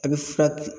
A bɛ fura kɛ